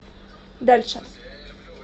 дальше